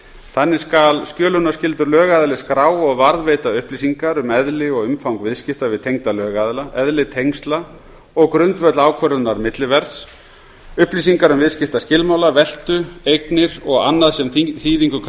þannig skal skjölunarskyldur lögaðili skrá og varðveita upplýsingar um eðli og umfang viðskipta við tengda lögaðila eðli tengsla og grundvöll ákvörðunar milliverðs upplýsingar um viðskiptaskilmála veltu eignir og annað sem þýðingu kann að